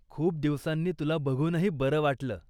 खूप दिवसांनी तुला बघूनही बरं वाटलं.